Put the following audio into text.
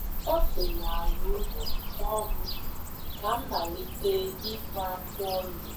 ọ si n’ala ụlọ kpọọ m ka m malite ịkpụ afụ ọnụ.